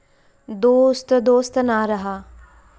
दोस्त दोस्त ना रहा...